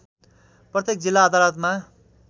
प्रत्येक जिल्ला अदालतमा